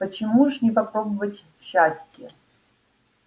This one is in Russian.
почему ж не попробовать счастия